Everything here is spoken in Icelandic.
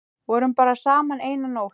Vorum bara saman eina nótt.